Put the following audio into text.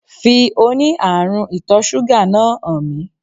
Fi oní ààrún ìtò súgà náà hàn mí